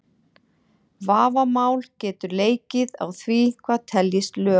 Vafamál getur leikið á því hvað teljist lög.